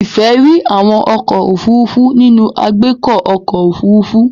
Ife ríi àwọn ọkọ́ òfurufú nínú agbeko ọkọ́ òfurufú.